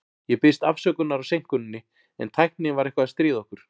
Ég biðst afsökunar á seinkuninni, en tæknin var eitthvað að stríða okkur.